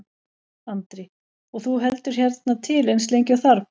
Andri: Og þú heldur hérna til eins lengi og þarf?